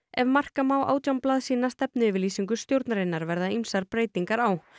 ef marka má átján blaðsíðna stefnuyfirlýsingu stjórnarinnar verða ýmsar breytingar á